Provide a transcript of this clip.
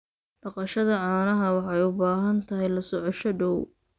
Dhaqashada caanaha waxay u baahan tahay la socosho dhow.